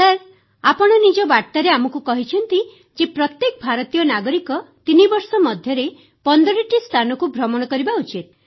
sir ଆପଣ ନିଜ ବାର୍ତ୍ତାରେ ଆମକୁ କହିଛନ୍ତି ଯେ ପ୍ରତ୍ୟେକ ଭାରତୀୟ ନାଗରିକ 3 ବର୍ଷ ମଧ୍ୟରେ 15ଟି ସ୍ଥାନକୁ ଭ୍ରମଣ କରିବା ଉଚିତ